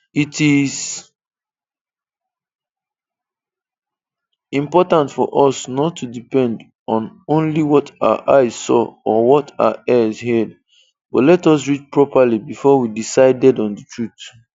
It is important for us not to depend on only what our eyes saw or what our ears heard, but let us read properly before we decided on the truth.